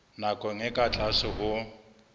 nakong e ka tlase ho